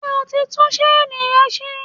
Ṣé o ti tún ṣéènì rẹ ṣe?